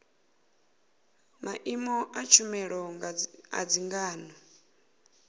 maimo a tshumelo a dzangano